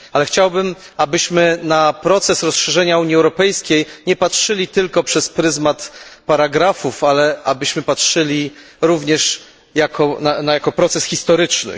Chciałbym, abyśmy na proces rozszerzenia Unii Europejskiej nie patrzyli tylko przez pryzmat paragrafów, ale abyśmy patrzyli również jako na proces historyczny.